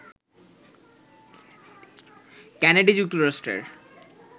Kennedy যুক্তরাষ্ট্রের